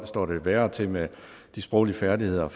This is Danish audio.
står det værre til med de sproglige færdigheder